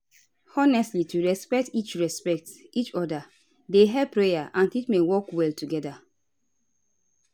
honestly to respect each respect each oda dey help prayer and treatment work well together